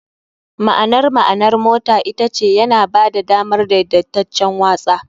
. Ma'anar ma'anar motar ita ce "yana ba da damar daidaitaccen watsa.